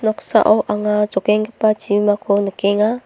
noksao anga jokenggipa chibimako nikenga.